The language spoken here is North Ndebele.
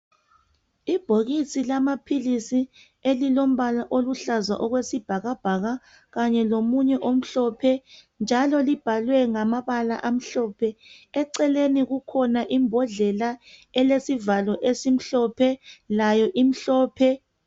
Ibhokisi lamapills elilombala oluhlaza okwesibhakabhaka kanye lomunye omhlophe njalo libhalwe ngamabala amhlophe eceleni kukhona imbodlela elesivalo esimhlophe layo imhlophe